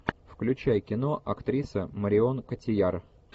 включай кино актриса марион котийяр